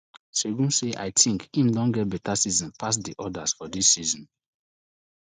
segun say i tink im don get beta season pass di odas for di list